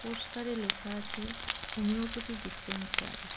পোস্টারে লেখা আছে হোমিওপ্যাথি ডিসপেন্সারি .